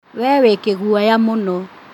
We wĩ kĩguoya mũno